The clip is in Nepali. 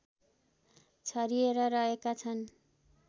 छरिएर रहेका छन्